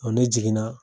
ne jiginna